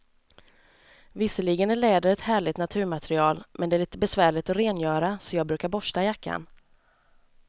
Visserligen är läder ett härligt naturmaterial, men det är lite besvärligt att rengöra, så jag brukar borsta jackan.